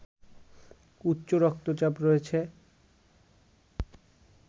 উচ্চ রক্তচাপ রয়েছে